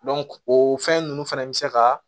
o fɛn ninnu fana bɛ se ka